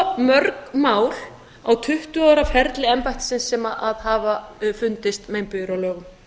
svo mörg mál á tuttugu ára ferli embættisins þar sem hafa fundist meinbugir á lögum